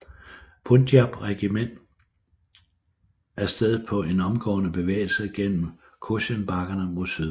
Punjab Regiment af sted på en omgående bevægelse gennem Cochen bakkerne mod syd